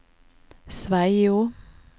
Sveio